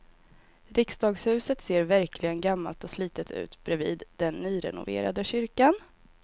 Riksdagshuset ser verkligen gammalt och slitet ut bredvid den nyrenoverade kyrkan.